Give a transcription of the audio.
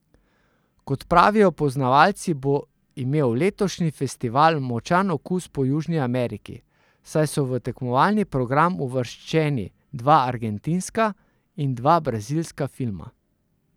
Kot pravijo poznavalci, bo imel letošnji festival močan okus po Južni Ameriki, saj so v tekmovalni program uvrščeni dva argentinska in dva brazilska filma.